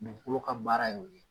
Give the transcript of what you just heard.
Dugukolo ka baara ye o ye